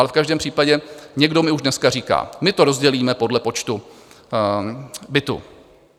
Ale v každém případě někdo mi už dneska říká: My to rozdělíme podle počtu bytů.